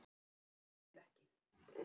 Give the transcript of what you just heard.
Þú treystir mér ekki!